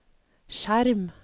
skjerm